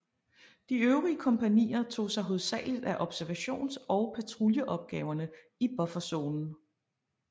De øvrige kompagnier tog sig hovedsagligt af observations og patruljeopgaverne i bufferzonen